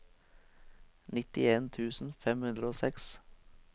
nittien tusen fem hundre og seks